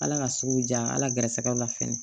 Ala ka sugu ja ala gɛrɛsɛgɛw la fɛnɛ